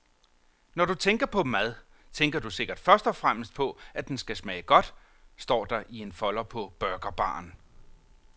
Når du tænker på mad, tænker du sikkert først og fremmest på, at den skal smage godt, står der i en folder på burgerbaren.